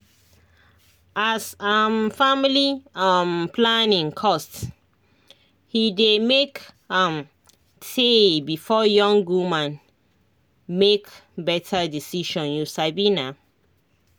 as um family um planning cost he dey make am tay before young woman make better decision you sabi na